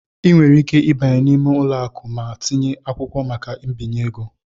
Ị nwere ike ịbanye n'ime ụlọ akụ ma tinye akwụkwọ maka mbinye ego.